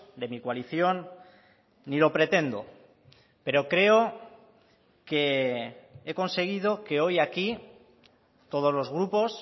de mi coalición ni lo pretendo pero creo que he conseguido que hoy aquí todos los grupos